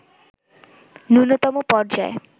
ন্যূনতম পর্যায়ে